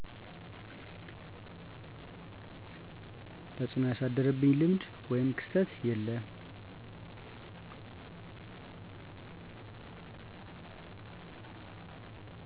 ተፅዕኖ ያሳደረብኝ ልምድ ወይም ክስተት የለም